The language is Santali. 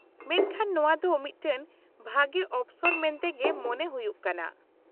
-ᱢᱮᱱᱠᱷᱟᱱ ᱱᱚᱣᱟ ᱫᱚ ᱢᱤᱫᱴᱟᱝ ᱵᱷᱟᱜᱮ ᱚᱯᱥᱚᱨ ᱢᱮᱱᱛᱮᱜᱮ ᱢᱚᱱᱮ ᱦᱩᱭᱩᱜ ᱠᱟᱱᱟ ᱾